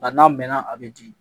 Nka n'a mɛnna a bɛ di